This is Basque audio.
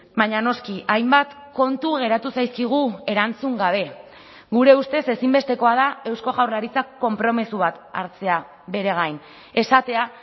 baina noski hainbat kontu geratu zaizkigu erantzun gabe gure ustez ezinbestekoa da eusko jaurlaritzak konpromiso bat hartzea bere gain esatea